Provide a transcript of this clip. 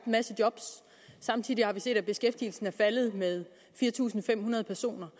masse job samtidig har vi set at beskæftigelsen er faldet med fire tusind fem hundrede personer